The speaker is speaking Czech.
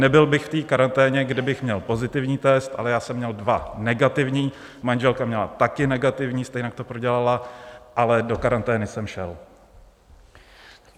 Nebyl bych v té karanténě, kdybych měl pozitivní test, ale já jsem měl dva negativní, manželka měla také negativní, stejně to prodělala, ale do karantény jsem šel.